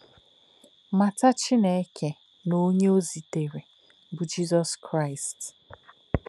Mata Chineke na onye o zitere, bụ́ Jizọs Kraịst.